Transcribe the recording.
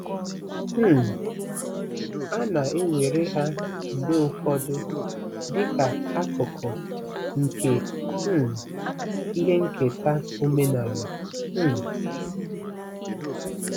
um A na-ewere ha mgbe ụfọdụ dị ka akụkụ nke um ihe nketa omenala um.